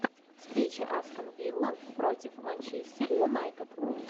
встреча астон вилла против манчестер юнайтед